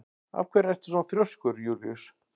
Af hverju ertu svona þrjóskur, Júlíus?